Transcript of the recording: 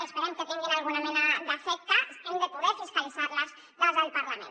esperem que tinguin alguna mena d’efecte hem de poder fiscalitzar les des del parlament